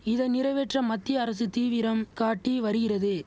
இதை நிறைவேற்ற மத்திய அரசு தீவிரம் காட்டி வரிகிறது